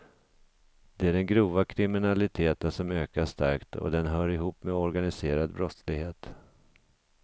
Det är den grova kriminaliteten som ökar starkt och den hör ihop med organiserad brottslighet.